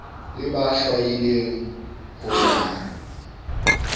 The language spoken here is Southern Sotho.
le ba hlwaileng ho ya